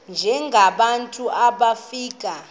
njengaba bantu wofika